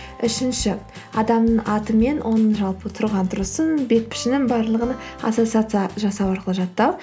үшінші адамның аты мен оның жалпы тұрған тұрысын бет пішінін барлығын ассоциация жасау арқылы жаттау